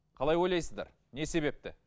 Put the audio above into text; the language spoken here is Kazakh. қалай ойлайсыздар не себепті